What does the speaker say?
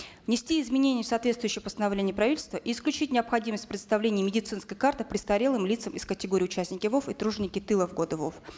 внести изменения в соответствующее постановление правительства и исключить необходимость предоставления медицинской карты престарелым лицам из категории участники вов и труженики тыла в годы вов